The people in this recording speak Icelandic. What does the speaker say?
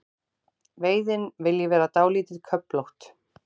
Veiðin vilji vera dálítið köflótt.